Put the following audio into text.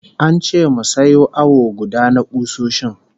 An ce mu sayo awo guda na kusoshin